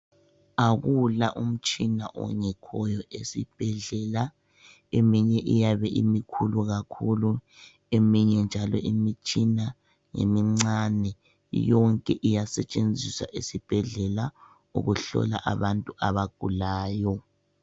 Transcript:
Akula umtshina ongekhoyo esibhedlela eminye iyabe imikhulu kakhulu eminye njalo imitshina imincane yonke iyasetshenziswa esibhedlela ukuhlola abantu abagulayo.